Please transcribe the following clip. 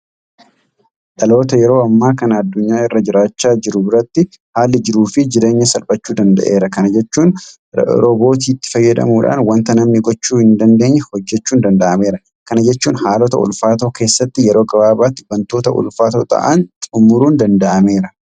Dhaloota yeroo ammaa kana addunyaa irra jiraachaa jiru biratti haalli jiruufi jireenyaa salphachuu danda'eera. Kana jechuun Roobootiitti fayyadamuudhaan waanta namni gochuu hin dandeenye hojjechuun danda'ameera. Kana jechuun haaloota ulfaatoo keessatti yeroo gabaabaatti waantota ulfaatoo ta'an xumuruun danda'ameera.